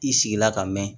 I sigila ka mɛn